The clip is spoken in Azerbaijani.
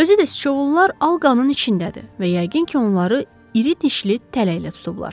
Özü də sıçovullar alqanın içindədir və yəqin ki, onları iri dişli tələylə tutublar.